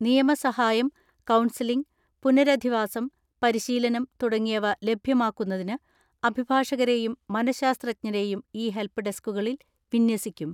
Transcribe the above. നിയമസഹായം, counselling, പുനരധിവാസം, പരിശീല നം, തുടങ്ങിയവ ലഭ്യമാക്കുന്നതിന് അഭിഭാഷകരെയും മനഃശാസ്ത്ര ജ്ഞരെയും ഈ ഹെൽപ്പ് ഡെസ്ക്കുകളിൽ വിന്യസിക്കും.